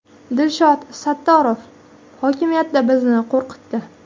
Dilshod Sattorov hokimiyatda bizni qo‘rqitdi.